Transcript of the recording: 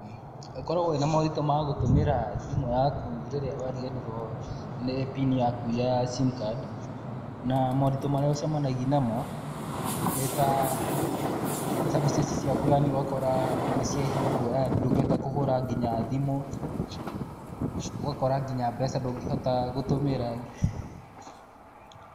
Ũkoragwo wĩna moritũ ma gũtũmĩra thimũ yaku rĩrĩa wariganirwo nĩ PIN yaku ya sim card. Na moritũ marĩa ũcemanagia namo nĩ ta services ciaku yani ũgakora nĩ ciahingwo yani, ndũngĩhota nginya kũhũra thimũ, ugakora nginya mbeca ndũngĩhota gũtũmĩra.